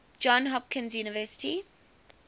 johns hopkins university